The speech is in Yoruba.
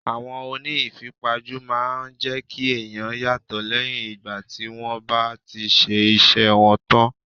Àwọn oní ìfipajú máa ń jẹ́ kí ẹ̀yàn yàtò lẹ́yìn ìgbà tí wón bá ti ṣe iṣẹ́ wọn tán.